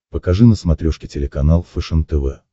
покажи на смотрешке телеканал фэшен тв